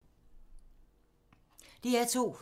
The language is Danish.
DR2